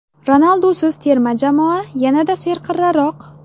Ronaldusiz terma jamoa yanada serqirraroq.